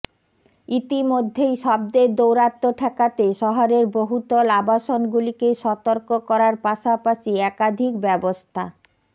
ইতিমধ্যেই শব্দের দৌরাত্ম্য ঠেকাতে শহরের বহুতল আবাসনগুলিকে সতর্ক করার পাশাপাশি একাধিক ব্যবস্থা